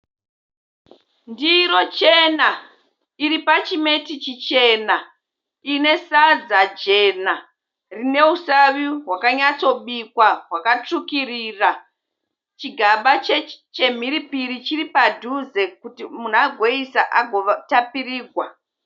Ndiro chena iri pachimeti chichena. Ine sadza jena rine usavi hwakanyatso bikwa hwakatsvukirira. Chigaba chemhiripiri chiri padhuze kuti munhu agoisa akagotapirigwa.